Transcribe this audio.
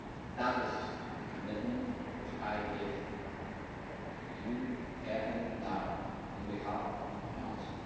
that is the commitment which I give Parliament here and now on behalf of the Council.